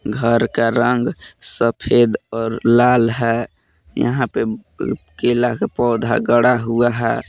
घर का रंग सफेद और लाल है यहां पे अ केला का पौधा गड़ा हुआ है।